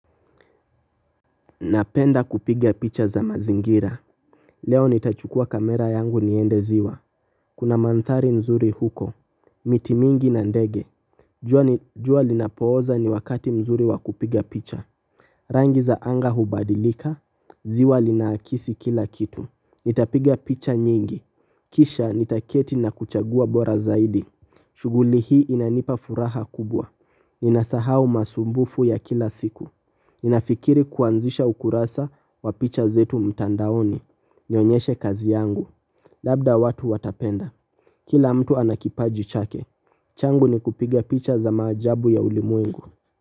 Napenda kupiga picha za mazingira. Leo nitachukua kamera yangu niende ziwa. Kuna mandhari nzuri huko. Miti mingi na ndege jua linapooza ni wakati mzuri wa kupiga picha. Rangi za anga hubadilika. Ziwa linaakisi kila kitu. Nitapiga picha nyingi. Kisha nitaketi na kuchagua bora zaidi. Shughuli hii inanipa furaha kubwa. Ninasahau masumbufu ya kila siku. Ninafikiri kuanzisha ukurasa wa picha zetu mtandaoni. Nionyeshe kazi yangu. Labda watu watapenda. Kila mtu anakipaji chake. Changu ni kupiga picha za maajabu ya ulimwengu.